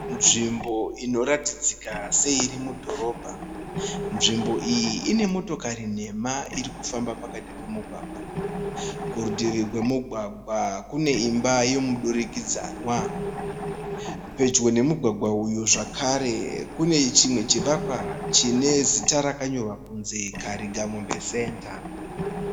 Nzvimbo inoratidzika se iri mudhorobha. Znvimbo iyi ine motokari nhemha iri kufamba pakati pemugwagwa. Kuritivi kwemugwagwa kune imba yemudurikidzwana . Pedyo nemugwagwa uyu zvekare kune chimwe chivakwa chakanyorwa kunzi Karigamombe center .